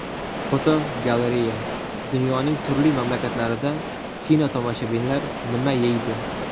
Fotogalereya: Dunyoning turli mamlakatlarida kinotomoshabinlar nima yeydi?.